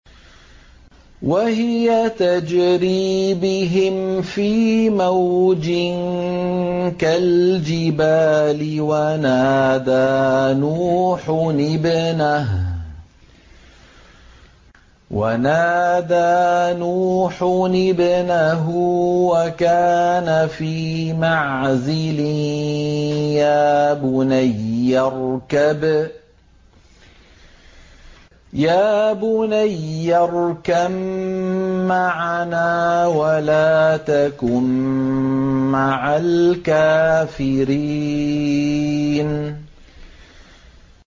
وَهِيَ تَجْرِي بِهِمْ فِي مَوْجٍ كَالْجِبَالِ وَنَادَىٰ نُوحٌ ابْنَهُ وَكَانَ فِي مَعْزِلٍ يَا بُنَيَّ ارْكَب مَّعَنَا وَلَا تَكُن مَّعَ الْكَافِرِينَ